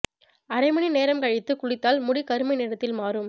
அரை மணி நேரம் கழித்து குளித்தால் முடி கருமை நிறத்தில் மாறும்